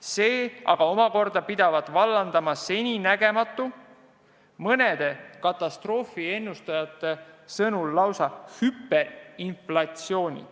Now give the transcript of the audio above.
See pidavat vallandama seninägematu, mõnede katastroofiennustajate sõnul lausa hüperinflatsiooni.